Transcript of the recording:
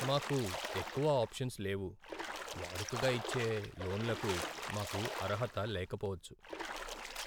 మాకు ఎక్కువ ఆప్షన్స్ లేవు! వాడుకగా ఇచ్చే లోన్లకు మాకు అర్హత లేకపోవచ్చు.